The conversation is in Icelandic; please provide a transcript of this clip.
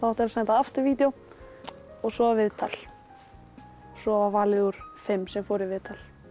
senda aftur vídeó og svo viðtal svo var valið úr þeim sem fóru í viðtal